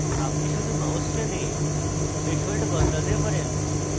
আপনি শুধু mouse টেনে threshold বদলাতে পারেন